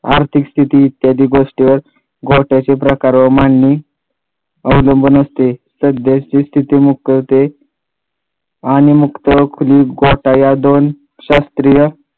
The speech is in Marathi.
आर्थिक स्थिती इत्यादी गोष्टीवर गोठ्याचे प्रकार मांडणी अवलंबून असते सध्याची स्थिती मुकवते आणि मुक्त खोली गोठा या दोन शास्त्रीय